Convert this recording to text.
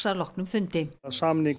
að loknum fundi sameining